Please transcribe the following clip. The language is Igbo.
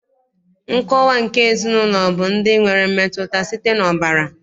Nkọwa nke ezinaụlọ bụ ndị nwere mmetụta site n'ọbara